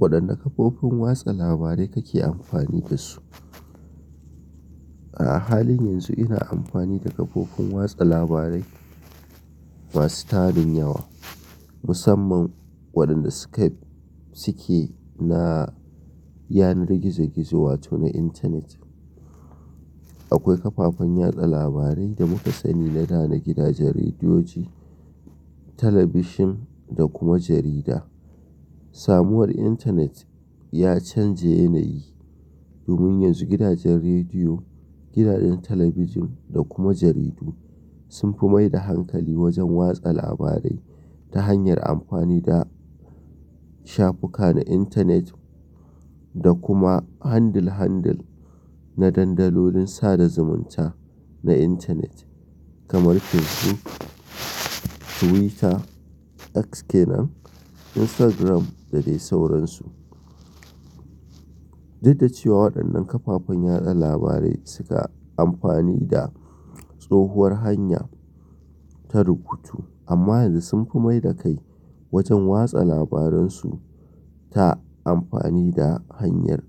Waɗanne kafofin watsa labarai kake amfani da su? A halin yanzu ina amfani da kafofin watsa labarai masu tarin yawa, musamman waɗanda Suke suke na yanar gizo-gizo wato na intanet. Akwai kafafen watsa labarai da muka sani na da na gidajen rediyoyi, talabijin da kuma jarida. Samuwar intanet ya canje yanayi domin yanzu gidajen rediyo, gidajen talabijin da kuma jaridu sun fi mai da hankali wajen watsa labarai ta hanyar amfani da shafuka na intanet da kuma handle handle na dandalin sada zumunta na intanet kamar Fesbuk, Tuwita, X kenan, Instagram da dai sauransu. Daddaciwa waɗannan kafafen yaɗa labarai suka amfani da tsohuwar hanya ta rubutu amma yanzu sun fi mai da kai wajen watsa labarun su ta amfani da hanyar